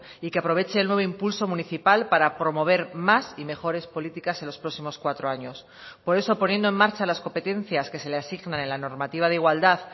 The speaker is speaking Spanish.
y que aproveche el nuevo impulso municipal para promover más y mejores políticas en los próximos cuatro años por eso poniendo en marcha las competencias que se le asignan en la normativa de igualdad